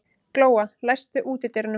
Glóa, læstu útidyrunum.